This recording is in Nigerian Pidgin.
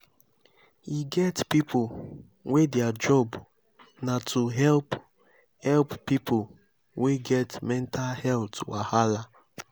e get pipo wey their job na to help help pipo wey get mental health wahala.